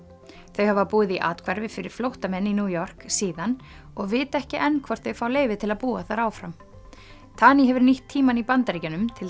þau hafa búið í athvarfi fyrir flóttamenn í New York síðan og vita ekki enn hvort þau fá leyfi til að búa þar áfram tani hefur nýtt tímann í Bandaríkjunum til